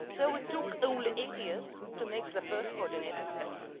So we took only eight years to take the first coordinated steps.